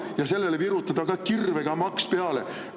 Ja sellele virutatakse ka kirvega maks peale!